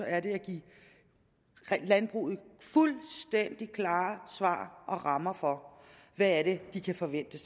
er det at give landbruget fuldstændig klare svar og rammer for hvad det er de kan forvente